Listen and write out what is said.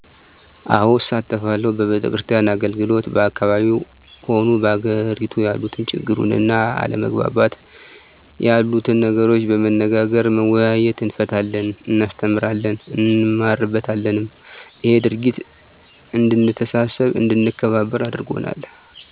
አዎ እሳተፋለሁ በቤተክርስቲያን አገልግሎት በአካባቢው ሆኑ በአገሬቱ ያሉትን ችግሩን እና አለመግባባት የሉትን ነገሮች በመነጋገር በመወያየት እንፈታለን እናስተምራለን እንማርበታለንም እሄ ድርጊት እድንተሳሰብ አድንከባበር አርጎናል